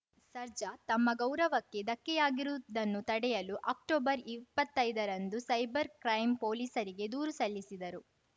ಸರ್ಜಾ ತಮ್ಮ ಗೌರವಕ್ಕೆ ಧಕ್ಕೆಯಾಗಿರುವುದನ್ನು ತಡೆಯಲು ಅಕ್ಟೊಬರ್ಇಪ್ಪತ್ತೈದ ರಂದು ಸೈಬರ್‌ ಕ್ರೈಂ ಪೊಲೀಸರಿಗೆ ದೂರು ಸಲ್ಲಿಸಿದರು